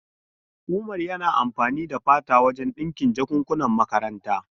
Umar yana amfani da fata wajen dinkin jakankunan makaranta.